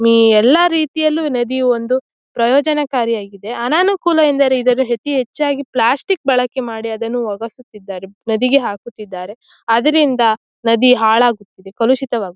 Me ಎಲ್ಲ ರೀತಿಯಲ್ಲು ನದಿಯು ಒಂದು ಪ್ರಯೋಚನಾಕಾರಿ ಆಗಿದೆ ಅನಾನುಕೂಲ ಅಂದರೆ ಇದನ್ನು ಅತಿ ಹೆಚ್ಚು ಪ್ಲಾಸ್ಟಿಕ್ ಬಳಕೆ ಮಾಡಿ ಅದನ್ನು ಒಗಸುತ್ತಿದ್ದರೆ ನದಿಗೆ ಹಾಕುತ್ತಿದ್ದಾರೆ ಆದ್ದರಿಂದ ನದಿ ಹಾಳುಆಗುತ್ತಿದ್ದೆ ಕಲುಷಿತವಾಗುತ್ತಿದೆ.